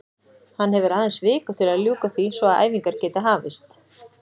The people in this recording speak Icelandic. Hann hefur aðeins viku til að ljúka því svo að æfingar geti hafist.